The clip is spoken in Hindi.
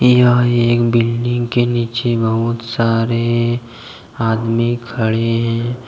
यह एक बिल्डिंग के नीचे बहुत सारे आदमी खड़े हैं।